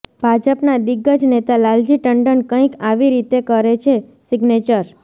ભાજપના દિગ્ગજ નેતા લાલજી ટંડન કંઈક આવી રીતે કરે છે સિગ્નેચર